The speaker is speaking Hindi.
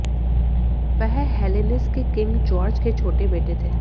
वह हेलेनीस के किंग जॉर्ज के छोटे बेटे थे